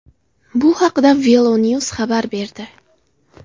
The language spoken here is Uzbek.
Bu haqda VeloNews xabar berdi .